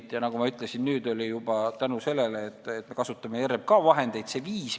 Ja nüüd, nagu ma ütlesin, on selleks juba 5 miljonit tänu sellele, et me kasutame RMK vahendeid.